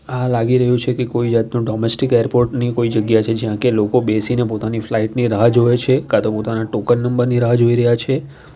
આ લાગી રહ્યું છે કે કોઈ જાતનું ડોમેસ્ટિક એરપોર્ટ ની કોઈ જગ્યા છે જ્યાં કે લોકો બેસીને પોતાની ફ્લાઇટ ની રાહ જોવે છે કા તો પોતાના ટોકન નંબર ની રાહ જોઈ રહ્યા છે.